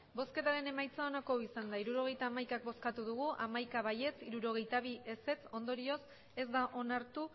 emandako botoak hirurogeita hamaika bai hamaika ez hirurogeita bi zuri bi ondorioz ez da onartu